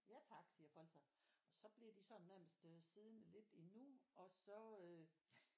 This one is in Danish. Ja tak siger folk så og så bliver de sådan nærmest siddende lidt endnu og så øh